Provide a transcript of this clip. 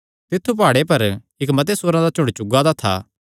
तित्थु प्हाड़े पर इक्क मते सूअरां दा झुंड चुगा दा था